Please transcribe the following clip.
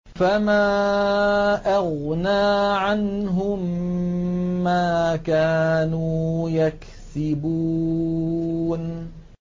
فَمَا أَغْنَىٰ عَنْهُم مَّا كَانُوا يَكْسِبُونَ